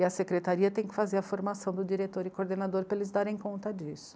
E a secretaria tem que fazer a formação do diretor e coordenador para eles darem conta disso.